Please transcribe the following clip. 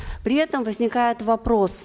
при этом возникает вопрос